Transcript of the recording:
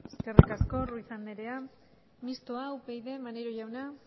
eskerrik asko ruiz andrea mistoa upyd maneiro jauna